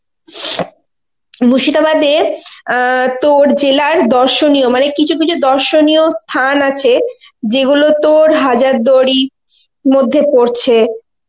মুর্শিদাবাদ এ অ্যাঁ তোর জেলার দর্শনীয় মানে কিছু কিছু দর্শনীয় স্থান আছে যে গুলো তর হাজার দুয়ারীর মধ্যে পরছে